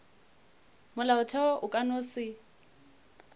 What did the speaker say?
molaotheo o ka no se